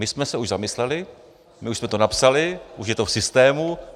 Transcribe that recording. My jsme se už zamysleli, my už jsme to napsali, už je to v systému.